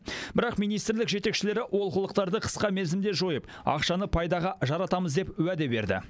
бірақ министрлік жетекшілері олқылықтарды қысқа мерзімде жойып ақшаны пайдаға жаратамыз деп уәде берді